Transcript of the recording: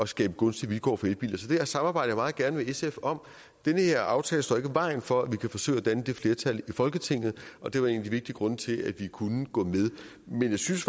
skabe gunstige vilkår for elbiler så det samarbejder jeg meget gerne med sf om den her aftale står ikke i vejen for at vi kan forsøge at danne det flertal i folketinget og det var en af de vigtige grunde til at vi kunne gå med men jeg synes